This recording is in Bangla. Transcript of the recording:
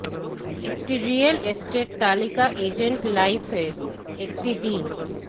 একটি রিয়েল এস্টেট তালিকা এজেন্ট লাইফ এর একটি দিন